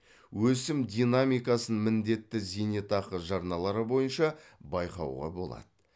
өсім динамикасын міндетті зейнетақы жарналары бойынша байқауға болады